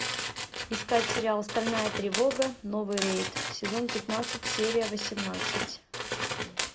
искать сериал стальная тревога новый рейд сезон пятнадцать серия восемнадцать